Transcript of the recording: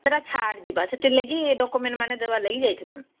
ଛାଡ଼ ଯିବା ସେଥି ଲାଗି document ମାନେ ଦେବା ଲାଗି ଯାଇଥିଲୁ